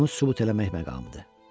İndi bunu sübut eləmək məqamıdır.